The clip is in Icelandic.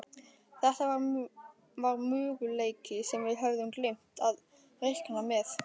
Þetta var möguleiki sem við höfðum gleymt að reikna með.